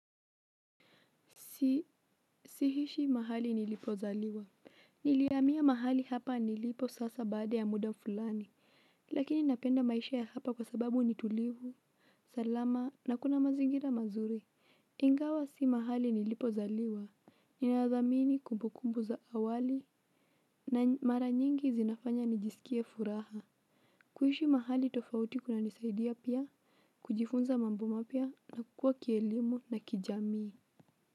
Sihishi mahali nilipozaliwa. Nilihamia mahali hapa nilipo sasa baada ya muda fulani. Lakini napenda maisha ya hapa kwa sababu nitulivu, salama, na kuna mazingira mazuri. Ingawa si mahali nilipozaliwa ninadhamini kumbukumbu za awali na mara nyingi zinafanya nijisikie furaha. Kuishi mahali tofauti kuna nisaidia pia, kujifunza mambo mapya na kukuwa kielimu na kijamii.